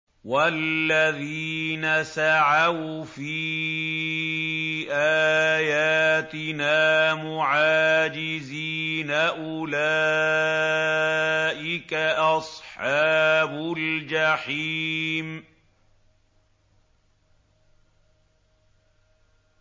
وَالَّذِينَ سَعَوْا فِي آيَاتِنَا مُعَاجِزِينَ أُولَٰئِكَ أَصْحَابُ الْجَحِيمِ